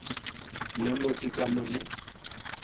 na motse ka mo le